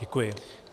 Děkuji.